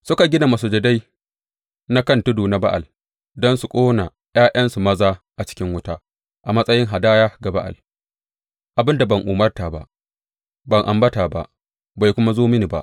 Suka gina masujadai na kan tudu na Ba’al don su ƙona ’ya’yansu maza a cikin wuta a matsayin hadaya ga Ba’al abin da ban umarta ba, ban ambata ba, bai kuma zo mini ba.